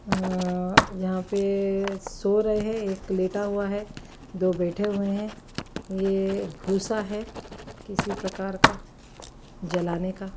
य-य-यहाँ पे सो रहे हैं एक लेटा हुआ है दो बैठे हुए हैं ये भूसा है किसी प्रकार का जलाने का --